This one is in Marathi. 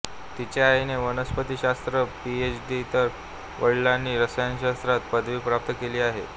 तिच्या आईने वनस्पतीशास्त्रात पीएच डी तर वडीलांनी रसायनशास्त्रात पदवी प्राप्त केली आहे